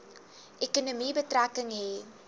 ekonomie betrekking hê